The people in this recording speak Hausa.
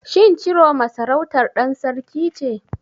Shin Ciroma sarautar ɗan sarki ce?